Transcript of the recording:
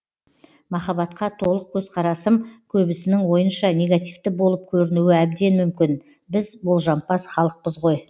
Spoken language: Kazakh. махаббатқа толық көзқарасым көбісінің ойынша негативті болып көрінуі әбден мүмкін біз болжампаз халықпыз ғой